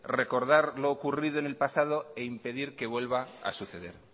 recordar lo ocurrido en el pasado e impedir que vuelva a suceder